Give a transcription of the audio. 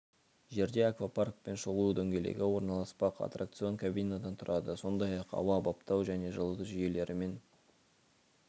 жерде аквапарк пен шолу дөңгелегі орналаспақ аттракцион кабинадан тұрады сондай-ақ ауа баптау және жылыту жүйелерімен